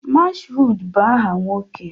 Mashood bu aha nwoke.